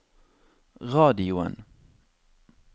radioen